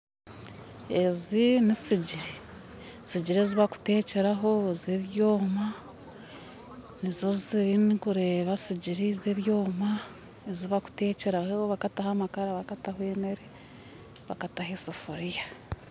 Ezi nissigyiri sigyiri ezibakutekyeraho zebyoma nizo zinkureeba sigyiri zebyoma ezibakutekyeraho, bakataho amakara bakataho emeere, bakataho eseforia